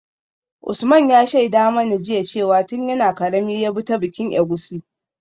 Usman ya shaida mana jiya cewa tun yana karami ya bi ta bikin egusi.